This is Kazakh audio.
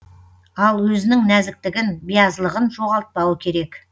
ал өзінің нәзіктігін биязылығын жоғалтпауы керек